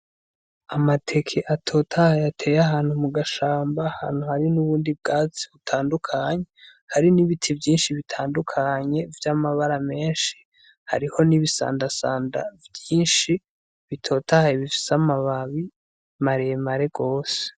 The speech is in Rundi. Amateke atotaha yateye ahantu mu gashamba ahantu hari n'ubundi bwatsi butandukanye hari n'ibiti vyinshi bitandukanye vy'amabara menshi hariho n'ibisandasanda vyinshi bitotahaye bifise amababi maremare rwose.